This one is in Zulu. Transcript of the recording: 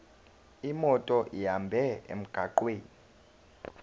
imoto ihambe emgwaqweni